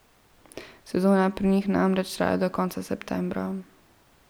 Sezona pri njih namreč traja do konca septembra.